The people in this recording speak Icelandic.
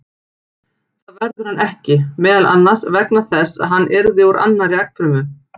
Það verður hann ekki, meðal annars vegna þess að hann yrði úr annarri eggfrumu.